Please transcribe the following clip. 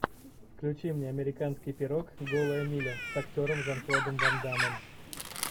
включи мне американский пирог голая миля с актером жан клодом ван даммом